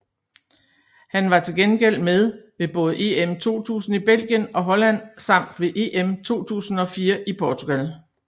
Han var til gengæld med ved både EM 2000 i Belgien og Holland samt ved EM 2004 i Portugal